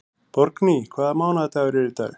Borgný, hvaða mánaðardagur er í dag?